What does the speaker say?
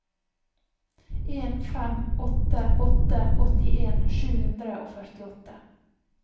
en fem åtte åtte åttien sju hundre og førtiåtte